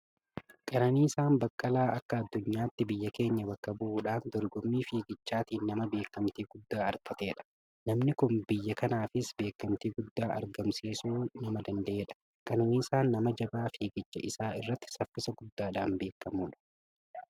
Qananiisaan Baqqalaa akka addunyaatti biyya keenya bakka bu'uudhaan dorgommii fiigichaatiin nama beekamtii guddaa argatedha. Namni kun biyya kanaafis beekamtii guddaa argamsiisuu nama danda'edha. Qananiisaan nama jabaa fiigicha isaa irratti saffisa guddaadhaan beekamudha.